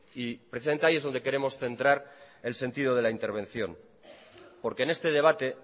y precisamente ahí es donde queremos centrar el sentido de la intervención porque en este debate